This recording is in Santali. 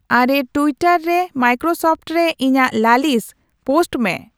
ᱟᱨᱮ ᱴᱩᱭᱴᱟᱨ ᱨᱮ ᱢᱟᱭᱠᱨᱳᱥᱚᱯᱷᱴ ᱨᱮ ᱤᱧᱟᱜ ᱞᱟᱹᱞᱤᱥ ᱯᱳᱚᱥᱴᱚ ᱢᱮ